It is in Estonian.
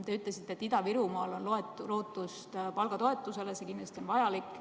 Te ütlesite, et Ida-Virumaal on lootust palgatoetusele, see on kindlasti vajalik.